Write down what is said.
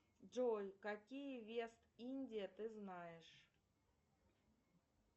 джой какие вест индия ты знаешь